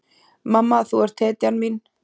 Mamma, þú ert hetjan mín.